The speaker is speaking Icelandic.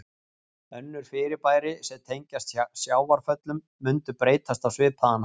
Önnur fyrirbæri sem tengjast sjávarföllum mundu breytast á svipaðan hátt.